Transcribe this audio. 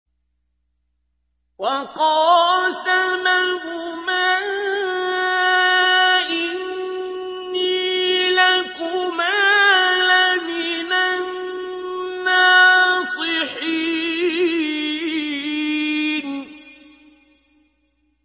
وَقَاسَمَهُمَا إِنِّي لَكُمَا لَمِنَ النَّاصِحِينَ